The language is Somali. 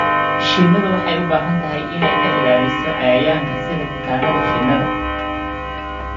Shinnidu waxay u baahan tahay in ay ka ilaaliso cayayaanka sida kutaannada shinnida.